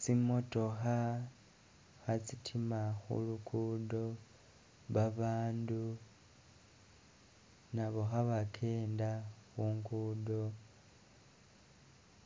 Tsimotookha kha'tsitima khu lukudo, babandu nabo kha'bakenda khungudo,